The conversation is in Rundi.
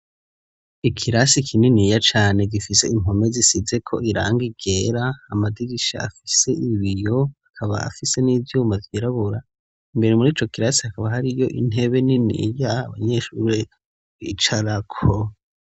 Ikirasi kininiya cane gifise impome zisize ko iranga ryera, amadirisha afise ibiyo akaba afise n'ivyuma vyirabura imbere muri co kirasi hakaba hari yo intebe niniya abanyeshuri bicarako.